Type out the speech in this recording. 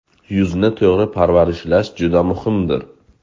Yuzni to‘g‘ri parvarishlash juda muhimdir.